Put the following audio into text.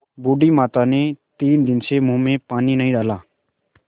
बूढ़ी माता ने तीन दिन से मुँह में पानी नहीं डाला